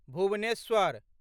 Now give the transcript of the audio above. Bhubaneswar